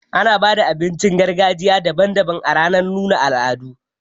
Ana baza abincin gargajiya daban daban ranar nuna al'adu.